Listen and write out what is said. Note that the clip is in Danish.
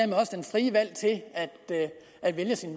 frie valg til at vælge sin